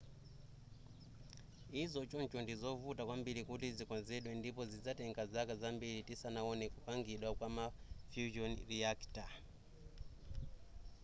izi choncho ndizovuta kwambiri kuti zikonzedwe ndipo zizatenga zaka zambiri tisanaone kupangidwa kwa ma fusion reactor